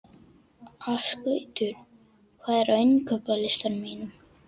Ásgautur, hvað er á innkaupalistanum mínum?